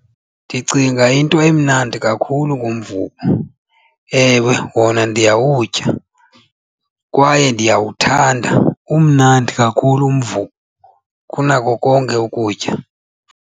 Ndicinga into emnandi kakhulu ngumvubo. Ewe wona ndiyawutya kwaye ndiyawuthanda, umnandi kakhulu umvubo kunako konke ukutya.